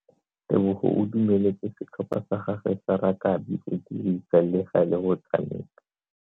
Tebogo o dumeletse setlhopha sa gagwe sa rakabi go dirisa le gale go tshameka.